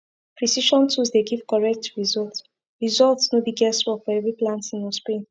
precision tools dey give correct result result no be guess work for every planting or spraying